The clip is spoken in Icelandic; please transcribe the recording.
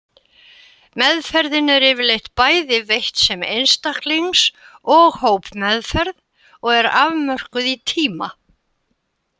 Meðferðin er yfirleitt bæði veitt sem einstaklings og hópmeðferð og er afmörkuð í tíma.